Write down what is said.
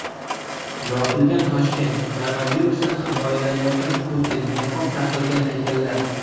Yopilgan Toshkent, koronavirusdan himoyalanayotgan Putin, niqob taqilgan haykallar.